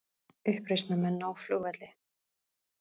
Uppreisnarmenn ná flugvelli